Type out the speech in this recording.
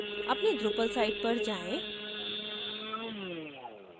अपनी drupal site पर आएँ